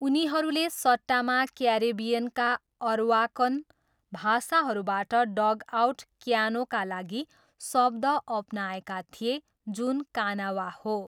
उनीहरूले सट्टामा क्यारिबियनका अरवाकन भाषाहरूबाट डगआउट क्यानोका लागि शब्द अपनाएका थिए जुन कानावा हो।